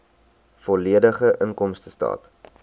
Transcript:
volledige inkomstestaat